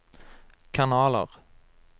kanaler